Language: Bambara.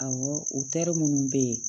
Awɔ otɛri munnu be ye